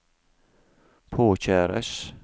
påkjæres